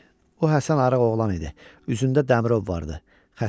O Həsən arıq oğlan idi, üzündə dəmirov vardı, xəstəhal.